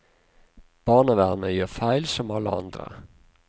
Barnevernet gjør feil, som alle andre.